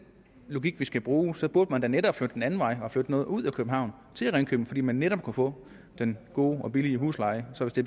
logik vi skal bruge så burde man da netop flytte den anden vej og flytte noget ud af københavn til ringkøbing fordi man netop kunne få den gode og billige husleje så hvis det